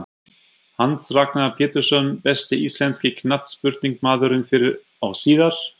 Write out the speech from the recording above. Hans Ragnar Pjetursson Besti íslenski knattspyrnumaðurinn fyrr og síðar?